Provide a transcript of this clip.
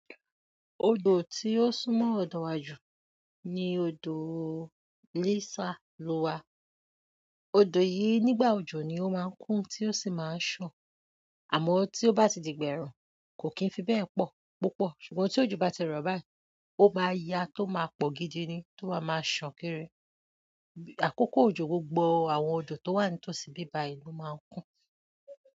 Odò tí ó sún mo ọ̀dọ̀ wa jù Léésà lọ wa. Odò yi, nígbà òjò nibo máa ń kún tí o sì máa san, àmọ́ tí o bá ti di ìgbà ẹ̀rùn kò kí n fi be pọ̀ púpọ̀ ṣùgbọ́n tí òjò bá ti rọ̀ báyìí oma ya tó má pọ̀ gidi ni tó má má san kiri àkókò òjò gbogbo àwọn odò tó wà nítòsí bíbá ì lo máa ń kún.